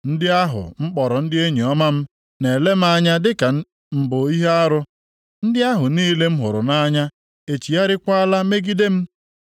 Ndị ahụ m kpọrọ ndị enyi ọma m na-ele m anya dịka m bụ ihe arụ; ndị ahụ niile m hụrụ nʼanya echigharịakwala megide m